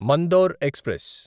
Mandore express